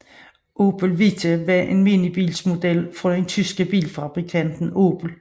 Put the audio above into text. Opel Vita var en minibilsmodel fra den tyske bilfabrikant Opel